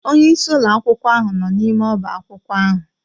Onye isi ụlọ akwụkwọ ahụ nọ n'ime ọba akwụkwọ ahụ.